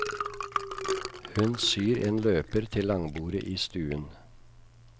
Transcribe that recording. Hun syr en løper til langbordet i stuen.